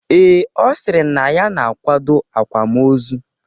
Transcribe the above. Ee, Ọ sịrị na ya na-akwado akwamozu ahụ